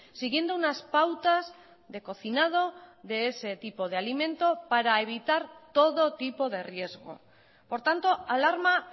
siguiendo unas pautas de cocinado de ese tipo de alimento para evitar todo tipo de riesgo por tanto alarma